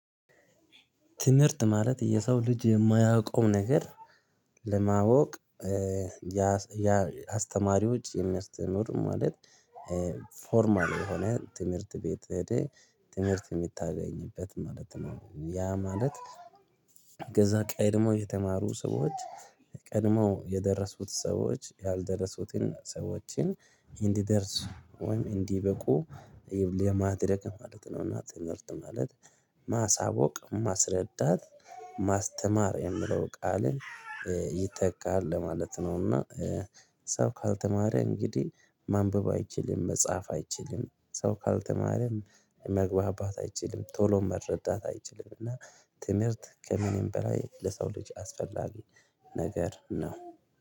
ትምህርት ማለት የሰው ልጅ የማያውቀው ነገር ለማወቅ ያ አስተማሪዎች የሚያስተምሩት ትምህርት ማለት ፎርማል የሆነ ትምህርት ቤት ትምህርት የምታገኝበት ማለት ነው። ያ ማለት ከዛ ቀይ ደግሞ የተማሩ ሰዎች ቀድሞ የደረሱት ሰዎች ያልደረሱትን ሰዎችን እንዲደርስ ወይም እንዲበቁ ይብል የማድረግ ማለት ነው። እና ትምህርት ማለት ማሳወቅ ማስረዳት ማስተማር የሚለው ቃልን ይተካለ ማለት ነው። እና ሰው ካልተማረ እንግዲህ ማንበብ አይችልም መጻፍ አይችልም ሰው ካልተማረ መግባባት አይችልም ቶሎ መረዳት አይችልም። እና ትምህርት ከምንም በላይ ለሰው ልጅ አስፈላጊ ነገር ነው